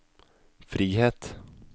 frihet